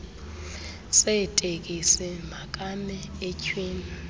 seeteksi makame etyhwini